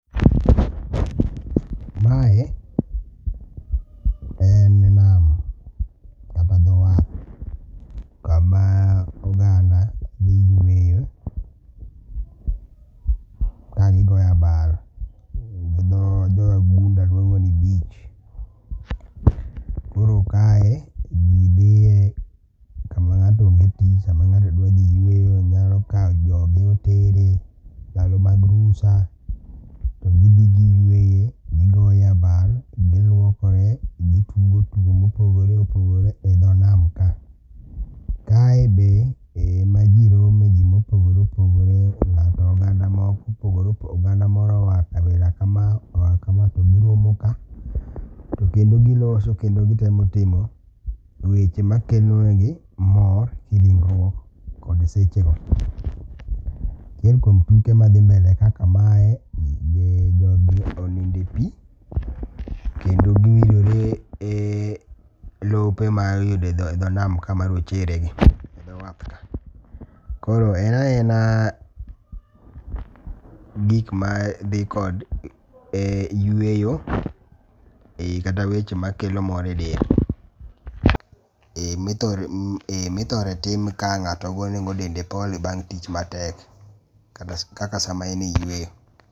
Mae en nam. Kama dho wath. Kama oganda dhi yueyo. Kagigoyo abal gi dho wagunda luongo ni beach. Koro kae ji dhiye sama ng'ato onge tich. Sama ng'ato dwa dhi yueyo onyalo kaw joge otere ndalo mag rusa. To gidhi gi yueye gigoye abal, giluokore, gitugo tugo mopogore opogore e dho nam ka. Kae be e ma ji rome ji mopogore opogore. Oganda mopogore oganda moro oa kabila kama oa kama to giromo ka. Tokendo giloso kendo gitemo timo weche makelo negi mor e kiringruok kod seche go. Achiel kuom tuke madhi mbele ka kaka mae jogi oninde pi kendo kingielore e lope ma iyudo e dho nam ka marochere gi. E dho wath ka. Koro en a ena gik madhi kod yueyo kata weche makelo mor e del. E mithore tim ka ng'ato go nego dende pole bang' tich matek kaka sa ma en e yueyo.